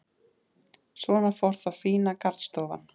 Svona fór þá fína garðstofan.